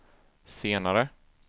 senare